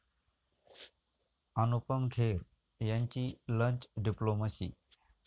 अनुपम खेर यांची 'lunch' diplomacy